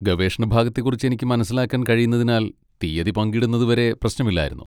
ഗവേഷണ ഭാഗത്തെക്കുറിച്ച് എനിക്ക് മനസ്സിലാക്കാൻ കഴിയുന്നതിനാൽ തീയ്യതി പങ്കിടുന്നത് വരെ പ്രശ്നമില്ലായിരുന്നു.